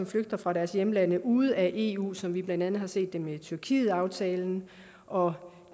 flygter fra deres hjemlande ude af eu som vi blandt andet har set det med tyrkietaftalen og